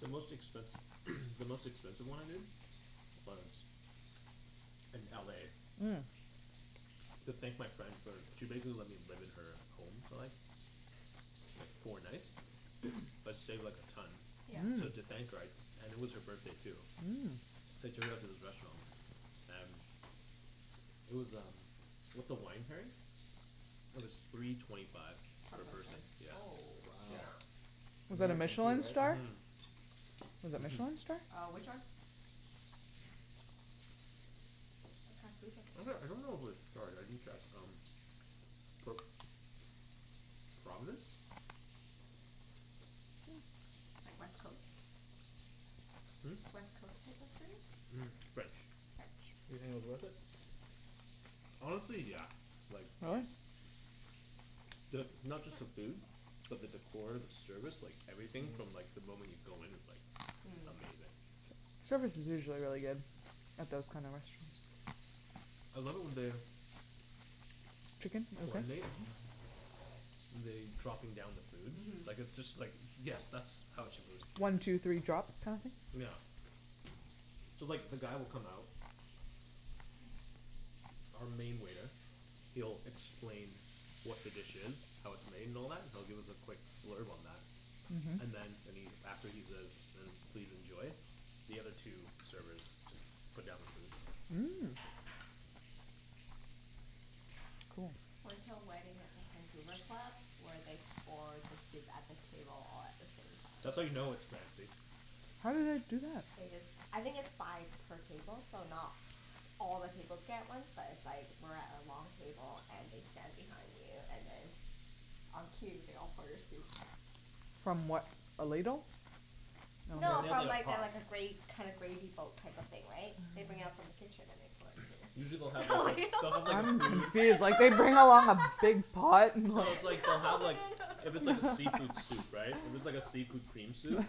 The most expensi- the most expensive one I did was in LA. Mm. To thank my friend for, she basically let me live in her home for like, like four nights, that saved like a ton. Yeah. So Mhm. thank her I, and it was her birthday too. Mm. I took her out to this restaurant and, it was um with the wine pairing, it was three twenty five Per per person. person. Oh Wow. Yeah. shit. Was it a Michelin star? Mhm. Was it Michelin star? Uh, which one? What kind of food would Actually, I dunno if it was they have? starred, I didn't check um, but Providence? Like West Coast? Hm? West Coast type of food? French. You French. think it was worth it? Honestly, yeah. Like Really? The, not just the food, but the decor, the service, like everything from like the moment you go in it's like Mm. Amazing. Service is usually really good. At those kinda restaurants. I love it when they Chicken? You want some? Coordinate, and they, dropping down the food. Mhm. Like it's just like yes, that's how it shupposed to be. One two three drop kinda thing? Yeah. So like the guy will come out, our main waiter, he'll explain what the dish is, how it's made and all that, he'll give us a quick blurb on that. Mhm. And then and he, after he says please enjoy, the other two servers just put down the food. Mm. Cool Went to a wedding at the Vancouver Club, where they pour the soup at the table all at the same time. That's how you know it's fancy. How do they do that? They just, I think it's by per table, so not all the tables get it at once but it's like we're at a long table and they stand behind you and then on cue they all pour your soup. From what, a ladle? No, No, they have from like a like the pot. like a gra- kind of gravy boat type of thing, right, they bring out from the kitchen and they pour into Usually your they'll have like a, they'll have like a I'm food confused like they bring out a lot of big pot, and No, it's like like, they'll have like, if No it's like a no seafood no soup, right, if it's like a seafood cream soup,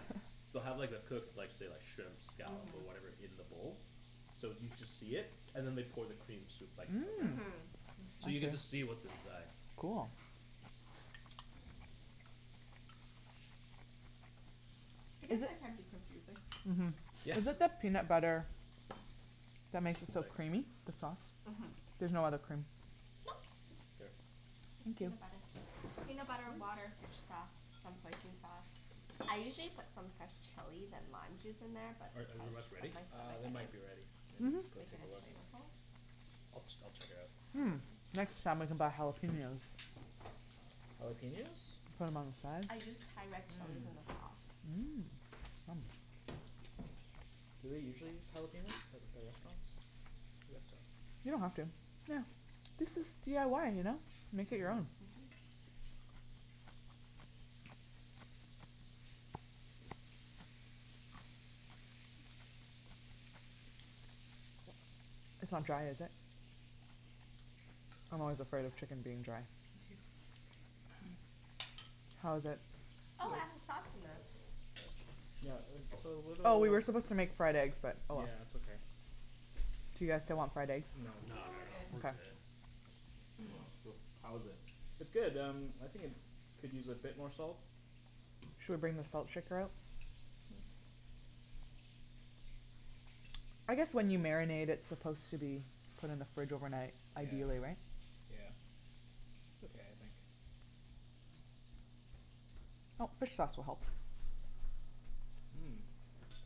they'll have like the cooked, say like, the shrimps, scallops or whatever in the bowl, so you just see it and then they pour the cream soup like around Mhm. it. Mmm! So you get to see what's inside. Cool. I guess Is it- that can be confusing. Mhm. Yeah. Is it the peanut butter that makes it so creamy? The sauce. Mhm. There's no other cream? Nope. Here. Just Thank you. peanut butter. Peanut butter, water, fish sauce, some hoisin sauce. I usually put some fresh chilies and lime juice in there but Are are the because rest ready? of my Uh, stomach they I might be ready. Maybe didn't. Mhm. go Make it take a as look. flavorful. I'll ch- I'll just check it out. Mm. Next time we can buy jalapeños. Jalapeños? From outside. I used Thai red chilies Mm. in the sauce. Mm. Do they usually use jalapeños at, at restaurants? I guess so. You don't have to. Yeah, this is DIY, you know? Make it your own. Mhm. It's not dry, is it? I'm always afraid of chicken being dry. How is it? Oh, add the sauce in them. Yeah, it's a little Oh, we were supposed to make fried eggs but oh well. Yeah, it's okay. Do you guys still want fried eggs? No, not at all, we're good. Well, how is it? It's good um, I think it could use a bit more salt. Should we bring the salt shaker out? I guess when you marinate it's supposed to be put in the fridge overnight ideally, right? Yeah. It's okay, I think. Oh, fish sauce will help. Mm.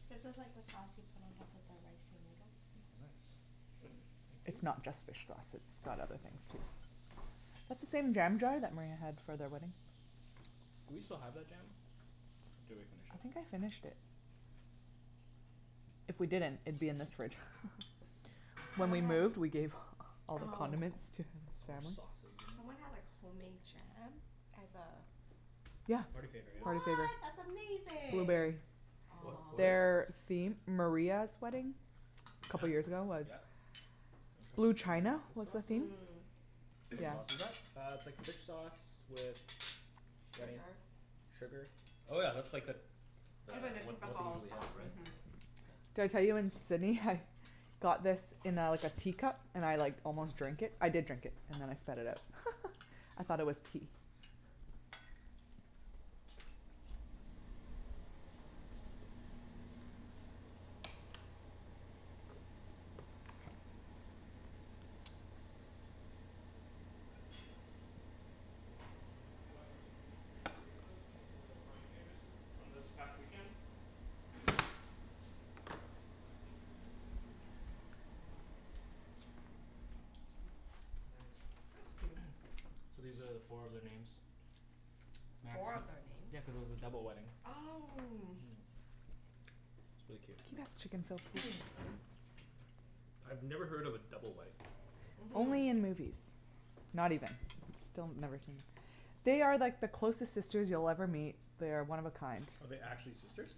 This is like the sauce you put on top of the rice and noodles. Nice. Thank you. It's not just fish sauce it's got other things, too. That's the same jam jar that Maria had for their wedding. Do we still have that jam? Or did we finish I it. think I finished it. If we didn't, it'd be in this fridge. So when we moved, we gave all the condiments to his family. Someone had like homemade jam as a Yeah. Party favor, yeah. Party favor. What! That's amazing! Blueberry. What, what Aw. is? Their theme, Maria's wedding, couple years ago was Yep. Blue china, This was the sauce? theme What Yeah. sauce is that? Uh, it's like fish sauce with. Wenny? Sugar Sugar Oh yeah, that's like that the It's really the what what they typical usually have, sauce, mhm. right? Did I tell you in Sydney I had got this in a like a teacup, and I like almost drank it, I did drink it and then I spat it out. I thought it was tea. We got really cute beer cozies as a party favors this, from this past weekend Nice That's cute. So these are four of their names. Four of their names? Yeah, cuz it was a double wedding. Oh. Mm, it's really Can cute. you pass the chicken, Phil, please? I've never heard of a double wedding. Only in Mhm. movies. Not even, still never seen. They are like the closest sisters you'll ever meet. They're one of a kind. Oh they're actually sisters?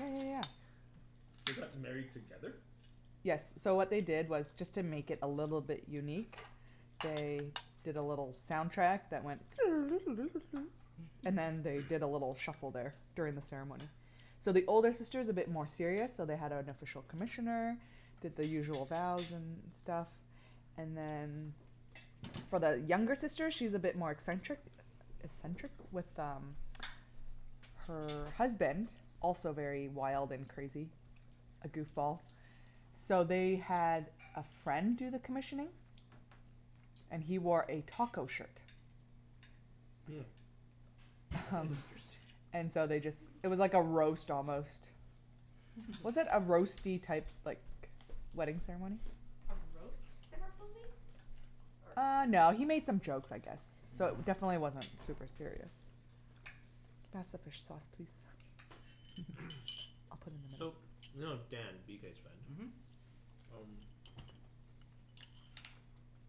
Yeah yeah yeah. They got married together? Yes, so what they did was just to make it a little bit unique, they did a little soundtrack that went and then they did a little shuffle there during the ceremony. So the older sister is a bit more serious so they had an official commissioner, did the usual bows and stuff, and then for the younger sister she's a bit more eccentric, eccentric, with um, her husband, also very wild and crazy A goofball. So they had a friend do the commissioning, and he wore a taco shirt. Hmm. That Um is interesting. and so they just, it was like a roast almost. Was it a roasty type, like, wedding ceremony? A roast ceremony? Uh no, he made some jokes I guess, so definitely wasn't super serious. Can you pass the fish sauce please? I'll put it in So, the you middle. know Dan, BK's friend? Mhm. Um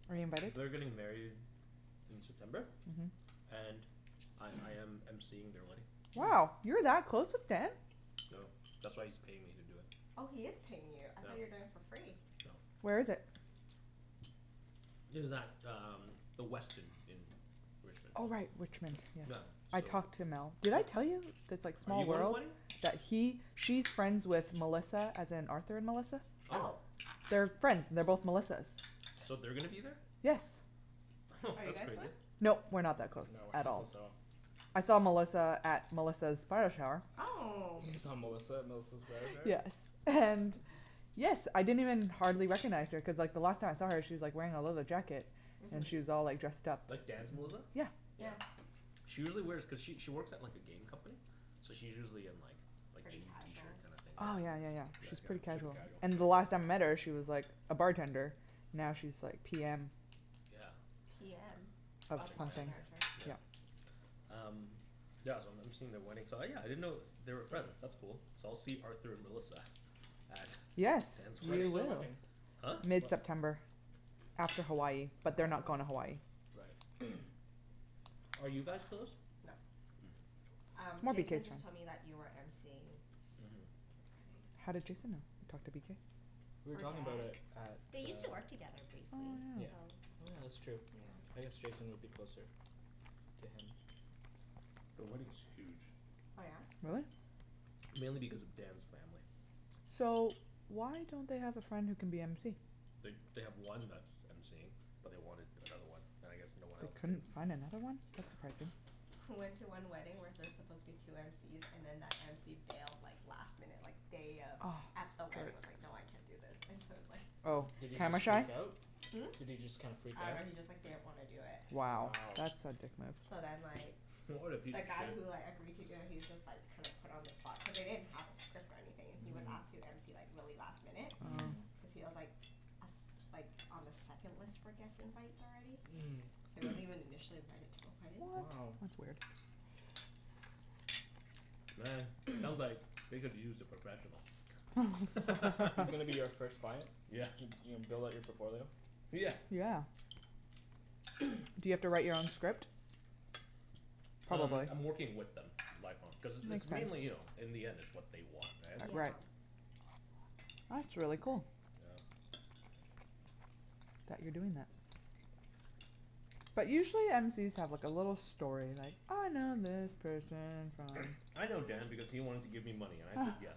Are you invited? They're getting married in September, and I I am MCing their wedding. Wow, you're that close with Dan? No, that's why he's paying me to do it. Oh he is paying you, I thought you're doing it for free. Where is Nope. it? It is at um, the Westin in Richmond. Oh right, Richmond, Yeah yes. I so. talked to Mel, did I tell you? That it's like Are small you going to the world. wedding? Yeah he, she's friends with Melissa as in Arthur and Melissa. Oh! Oh! They're friends, they're both Melissas. So they're gonna be there? Yes. Are you That's guys going? crazy. Nope, we're not that close, No, we're at not all. close at all. I saw Melissa at Melissa's bridal shower. Oh! You saw Melissa at Melissa's bridal shower? Yes, and yes I didn't even hardly recognize her cuz like the last time I saw her she's like wearing a leather jacket. And she was Mhm. all like dressed up. Like Dan's Melissa? Yeah. Yeah. She usually wears, cuz she she works at like a game company, so she's usually in like, like Pretty jeans, t-shirt casual? kinda thing, yeah. Oh yeah yeah yeah, Yeah, she's pretty super casual. casual. And the last time I met her she was like a bartender, now she's like PM. Yeah. PM? Of Oh Project project something. manager, manager. yeah. Um yeah, so I'm MCing at their wedding so yeah, I didn't know they were friends, that's cool. So I'll see Arthur Melissa at Yes! Dan's When You is their will. wedding wedding? Huh? Whe- mid-september. After Hawaii, but they're not going to Hawaii. Right Are you guys close? Nope. Hm. Um, Jason just told me that you are MCing. Mhm. How did Jason know, talked to BK? We were From talking about Dan, it at the they used to work together briefly, Oh yeah. so Oh yeah, that's true. I guess Jason would be closer to him. The wedding is huge. Oh yeah? Really? Mainly because of Dan's family. So, why don't they have a friend who can be MC? They they have one that's that's MCing, but they wanted another one. And I guess no one They else could couldn't find another one? That's surprising. I went to one wedding where there's supposed to be two MCs, and then that MC bailed like last minute like day of, at the wedding was like, no I can't do this, and so it was like Oh, Did he camera just shy? freak out? Hm? Did he just kind of freak I out? dunno he just like didn't want to do it. Wow. Wow. That's a dick move. So then like. What a The guy who like agreed to do it he was just like kind of put on the spot, cuz they didn't have a script or anything. He was asked to MC like really last minute, cuz he was like a s- like on the second list for guest invites already. So he wasn't even initially invited to the wedding. What? Wow. That's weird. Man, sounds like they could use a professional. He's gonna be you first client? Yeah. You're gonna build up on your portfolio? Yeah. Yeah. Do you have to write your own script? Um, Probably. I'm working with them. Like on, cuz it's Makes mainly you know, sense. in the end it's what they want Yeah. right? Right. That's really cool. Yeah. That you're doing that. But usually MC's have like a little story like I know this person from I know Dan because he wanted to give me money and I said yes.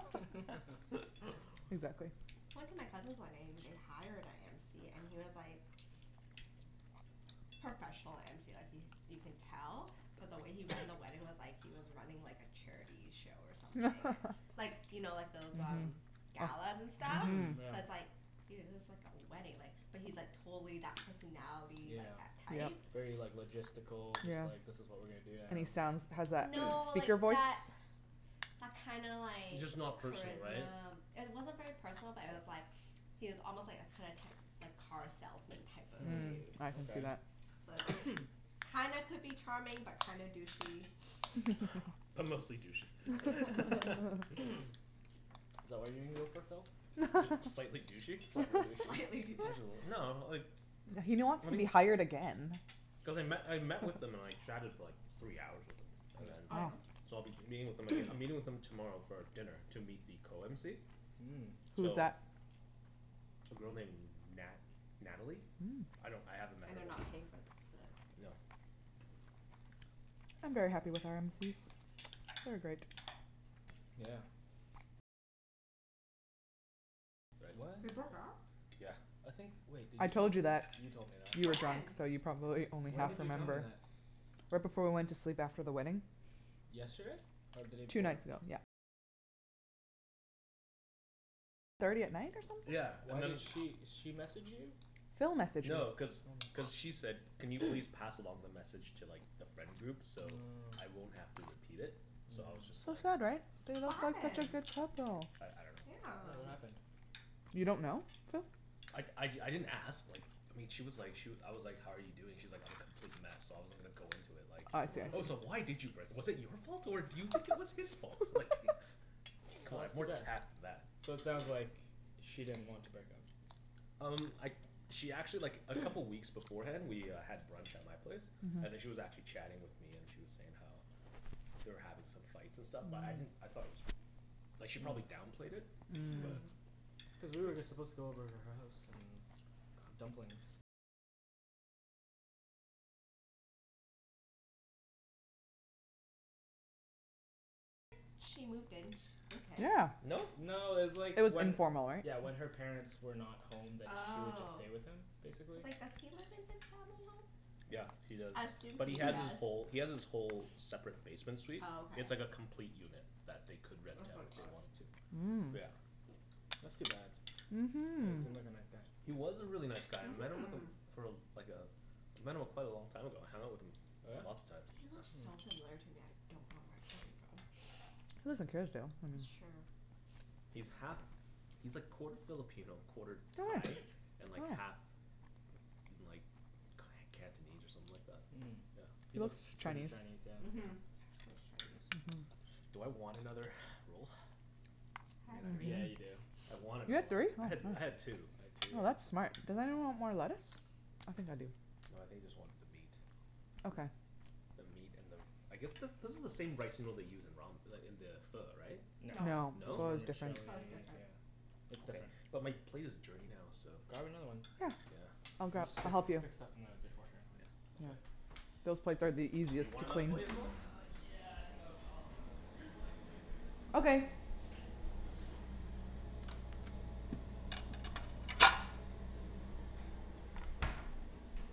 Exactly. I went to my cousin's wedding and they hired a MC and he was like, professional MC like he, you can tell, but the way he ran the wedding was like he was running like a charity show or something Like, you know like those um, galas and stuff Mhm So it's Yeah. like, dude, this is like a wedding like, but he's like totally that personality, Yeah. like that type. Very like logistical Just Yeah. like this is what we are gonna do And he sounds, now has that No, like speaker voice? that, that kinda like Just not personal right? Charisma. It wasn't very personal but it was like, he was almost like a kind of, type, like car salesman type of Hm, Mhm. dude. I can see okay that. So it's like, kinda could be charming but kinda douchey. But mostly douchey. Is that what you're gonna go for, Phil? Just slightly douchey. Slightly douchey. Slightly douchey Just a little, no like He don't wants to be hired again. Cuz I met, I met with them and like chatted for like three hours with them, and Oh then Wow yeah? so I'll be meeting with them aga- I'm meeting with them tomorrow for dinner to meet the co-mc. Mm. Who's So that? A girl named Nat- Natalie? Mm. I don't, I haven't met And her they're not paying for the No. I'm very happy with our MC's. They are great. Yeah. What? They broke up? I think wait, did I you tell told me you that? that You told me that. You were drunk, When? so you probably only When half did you tell me remember that? Right before we went to sleep after the wedding. Yesterday? Or the day Two before? nights ago, yep. Yeah, and Why then did she, she message you? Phil messaged No, me. cuz cuz she said, "Can you please pass along the message to like the friend groups so I won't have to repeat it?" So I was just So like sad right? They What looked like such a happened? good couple! I I Yeah, Yeah. dunno. what happened? You don't know, Phil? I I d- I didn't ask like, I mean she was like she I was like, "how are you doing", she's like, "I'm a complete mess" so I wasn't gonna go into it like. Oh I see I Oh so see. why did you break, was it your fault or do you think it was his fault? Like, c'mon, I have more tact than So it that. sounds like she didn't want to break up. Um, I she actually like a couple weeks beforehand we uh had brunch at my place, and then she was actually chatting with me and she was saying how they were having some fights and stuff but I didn't, I thought it was, like she probably downplayed it. Mm. But. Cuz we were just supposed to go over to her house and cook dumplings Yeah. No? No, it's like It was when informal right? Yeah when her parents were not home then she would just Oh. stay with him, basically. Cuz like, does he live in his family Yeah, home? he does. I assume But he he has his does. whole, he has his whole separate basement suite. Oh It's like a okay. complete unit that they could rent out if they wanted to. Mm. But yeah. That's too bad. Yeah, he Mhm. seemed like a nice guy. He was a really nice guy and then like a for uh like uh I met him quite a long time ago. I hung out with him lots of times. He looks so familiar to me I don't know where I him from. He lives in Kerrisdale. That's true. He's half, he's like quarter Filipino, quarter Thai, and like half like Cantonese or something like that? Mm. He He Yeah. looks looks pretty Chinese Chinese, yeah. Mhm. He looks Chinese. Mhm Do I want another roll? I had three. Yeah, you do. I want You another had three? one. I had, I had two. I had two, yeah. Oh that's smart. Does anyone want more lettuce? I think I do. No, I think I just want the meat. Okay. The meat and the, I guess this this is the same rice noodle they use in ramen, like in the pho, right? No. No. This is No? Pho is different. vermicelli, Pho is different. yeah. It's Okay, different. but my plate is dirty now so. Grab another one. Yeah. I'll We grab, Yeah. just I'll stick, help you. stick stuff in the dishwasher anyways. Yeah, Yeah, okay. those plates are the Do you easiest to want another clean. plate as well? yeah I think I'll, I'll have another roll. Two plates please, Susie. Okay. Oh lemme grab my, water. So much food. Yeah. That's a lot of food.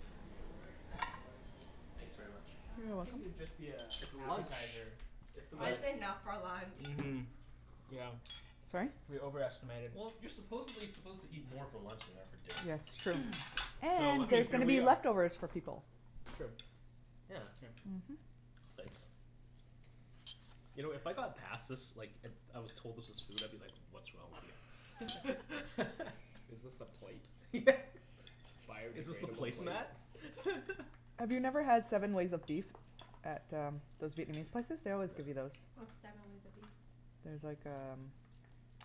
Cuz we were worried that the rice rolls wouldn't be Thanks very enough. I much. was like ah You I are think welcome. it'd just be a It's lunch! appetizer. It's the most That's enough for lunch. Mhm. Yeah. Sorry? We over estimated. Well, you're supposedly suppose to eat more for lunch than you are for Yes it's dinner. true. So And I mean there's going here to we be are leftovers for people True. Yeah. Thanks. You know if I got passed this like it, I was told this was food I'd be like, what's wrong with you. Is this the plate? Yeah. Is this the Biodegradable plate? placemat? Have you never had seven ways of beef at uh, those Vietnamese places? They No. always give you those. What's seven ways of beef? It's like um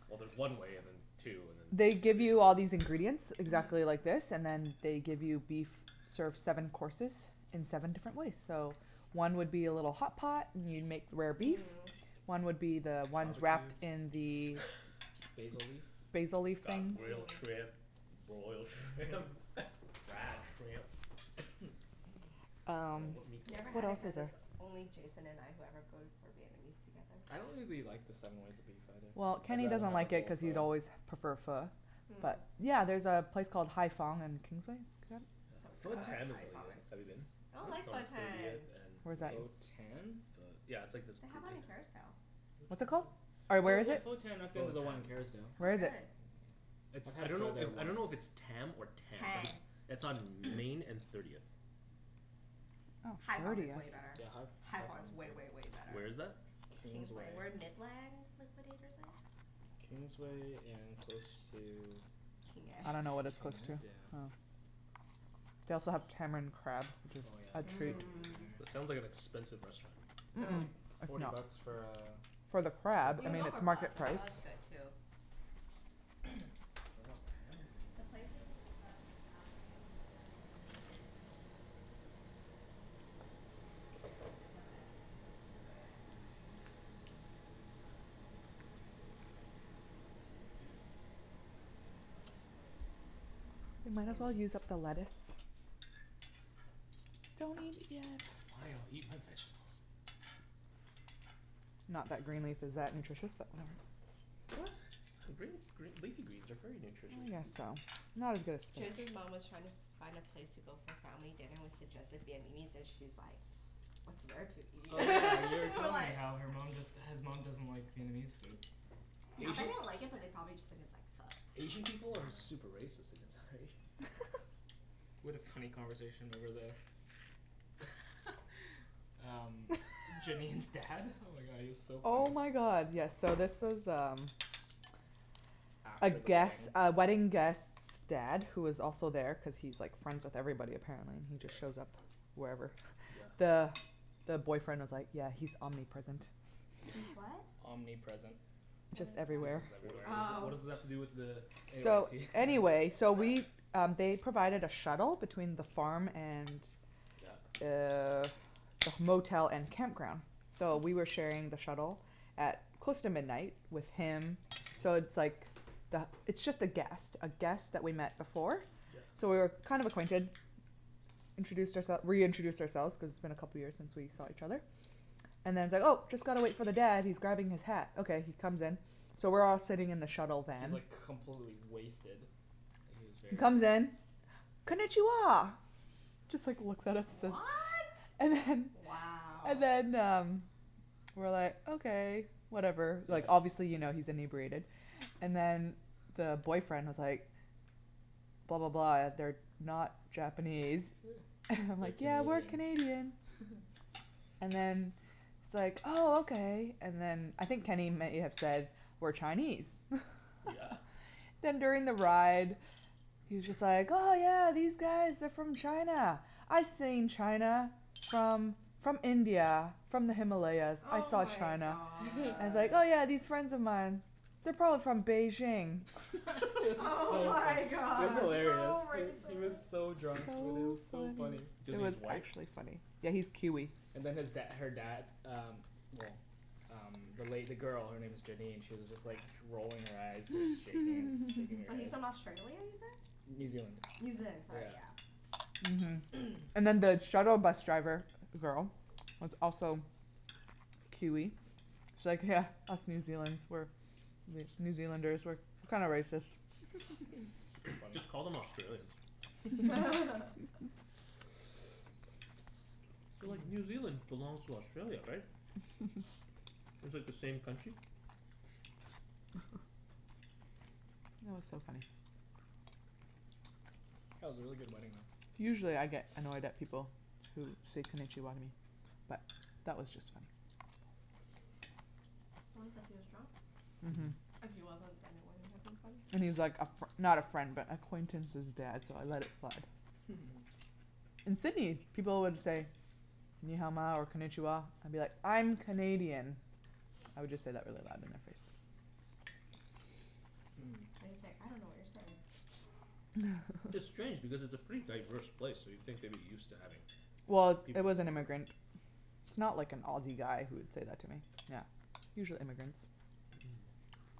Well there's one way and then two and then They give you all these ingredients exactly like this and then they give you beef, serve seven courses in seven different ways so one would be a little hotpot and you make rare beef. Mm. One would be the ones Barbequed? wrapped in the Basil leaf? Basil leaf Got thing grilled shrimp, broiled shrimp fried shrimp I dunno, Um. what meat I've do I never want What had it else cuz is there. it's only Jason and I who ever go to, for Vietnamese together. I don't really the, like the seven ways of beef either, Well, I'd Kenny rather doesn't have a like it bowl cuz of he's always prefer Pho. Pho. But Mm. yeah, there's a place called Hai Phong on Kingsway So Pho fun, Tan is Hai really Phong good, is have you been? I don't like It's on Pho Tan! thirtieth Where's and? that? Pho Tan? Pho- yeah, it's like this They have one in Kerrisdale. What's it called? Or where Oh is yeah it? Pho Tan I've been to the one in It's Kerrisdale. Where not is it? good. It's, I I had Pho dunno there if, I once. dunno if it's Tam or Tan. Tan. It's on Main and Thirtieth. Oh Hai Phong is thirtieth. way better. Yeah, Hai Ph- Hai Hai Phong Phong is way is good way way better. Where is that? Kingsway. Kingsway. Where Midland Liquidators is. Kingsway and close to King Ed I dunno what it's King close Ed? to. Yeah. Oh. They also have tamarind crab which Oh yeah, it's It so is. Mm. sounds like good an there. expensive restaurant. Mm- It's only mm. forty bucks for uh For the crab. I You can mean go it's for Pho. market The price. Pho is good too. Do I want the ham or do I want The the pork. place in Le Bouguette in Kerrisdale they have really good uh Ben Bo Hue. What is Really. Yeah, that? it's Ben Bo the Hue best is good. Ben Bo Hue I've had. It's like um s- special type of noodles. Spicy lemongrass beef noodles. So good. But we had Ben Bo Hue in Hue. We might as well use up the lettuce. Don't eat it yet! Fine, I'll eat my vegetables. Not that green leaf is that nutritious but whatever What? Green, green, leafy greens are very nutritious. I guess so. Not as good as spinach. Jason's mom was trying to find a place to go for family dinner, we suggested Vietnamese and she's like, "What's there to eat?" Oh yeah you already We're told me like how her mom just, his mom doesn't like Vietnamese food. I bet they don't like it but they probably just think it's like Asian Pho. people are super racist against other Asians. We had a funny conversation over the. Um, Janine's dad. Oh my god, he was so funny Oh my god yes so this was um A After the guest, wedding. a wedding guest's dad who was also there cuz he's like friends with everybody apparently. He just shows up wherever. Yeah. The the boyfriend was like, "Yeah he's omnipresent." He's what? Omnipresent. What Just is that? everywhere. What does, what does that, Oh. what does that have to do with the Anyways So, he anyways so we um they provided a shuttle between the farm and Yeah. Uh the motel and campground so we were sharing the shuttle at close to midnight with him. So it's like the, it's just a guest, a guest that we've met before. So Yeah. we were kind of acquainted. We introduced our- reintroduced ourselves cuz it's been a couple of years since we saw each other. And then he's like, "Oh just gotta wait for the dad, he's grabbing his hat", okay he comes in. So we're all sitting in the shuttle He's van. like completely wasted. Like he was He very drunk. comes in, "Konichiwa!" Just like looks at us and- What?! And then Wow. And then um, we were like, okay, whatever, like obviously you know he's inebriated, and then the boyfriend was like, "Blah blah blah they're not Japanese." And I'm We're like, "Yeah we're Canadian. Canadian." And then he's like oh okay. And then I think Kenny may have said we're Chinese Yeah. Then during the ride, he's just like, "Oh yeah these guys are from China, I've seen China from from India, from the Himalayas." I Oh saw my China. god. And he's like, "Yeah yeah, these friends of mine, they're probably from Beijing." It was Oh so funny. my It was god. hilarious. So He was racist! so drunk, Wenny, it was so funny. Does It he, he's was white? actually funny. Yeah he's Kiwi. And then his dad her dad um well um the lady, the girl, her name is Janine, she was just like rolling her eyes just shaking his, shaking her So he's head from Australia, New you said? Zealand. New Zealand, sorry yeah. Mhm. And then the shuttle bus driver girl was also Kiwi. She's like, "Yeah, us New Zealand's, we're, New Zealanders we're, we're kinda racist." Just call them Australians. So like New Zealand belongs to Australia, right? It's like the same country? That was so funny. That was a really good wedding though. Usually I get annoyed at people who say Konichiwa to me, but that was just funny. Probably cuz he was drunk. Mhm. And he was like a fr- not a friend but acquaintance's dad so I let it slide. In Sydney, people would say "Ni Hao Ma" or "Konichiwa" and I'll be like, "I'm Canadian." I would just say that really loud in their face. Or you say, "I dunno what you're saying." It's strange because it's a pretty diverse place so you'd think they'd be used to having Well, it was an immigrant. It's not like an Aussie guy who would said that to me. Yeah. Usually immigrants. Mhm.